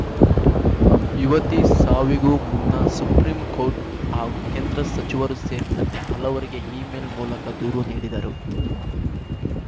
ಯುವತಿ ಸಾವಿಗೂ ಮುನ್ನ ಸುಪ್ರೀಂ ಕೋರ್ಟ್‌ ಹಾಗೂ ಕೇಂದ್ರ ಸಚಿವರು ಸೇರಿದಂತೆ ಹಲವರಿಗೆ ಇಮೇಲ್‌ ಮೂಲಕ ದೂರು ನೀಡಿದರು